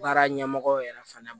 Baara ɲɛmɔgɔ yɛrɛ fana